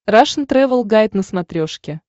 рашн тревел гайд на смотрешке